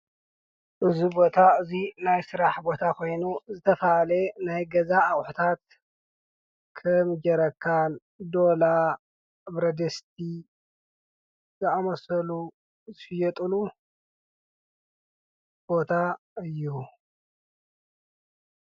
እዙ ቦታ እዙይ ናይ ሥራሕ ቦታ ኾይኑ ዝተፋለ ናይ ገዛ ኣቁሕታት ከም ጀረካን ዶላ ብረድስቲ ዘኣመሰሉ ዝሽየጥሉ ቦታ እዩ።